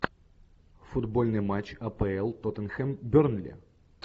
футбольный матч апл тоттенхэм бернли